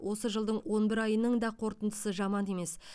осы жылдың он бір айының да қорытындысы жаман емес